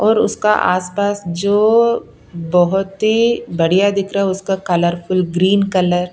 और उसका आसपास जो बहुत ही बढ़िया दिख रहा है उसका कलरफुल ग्रीन कलर --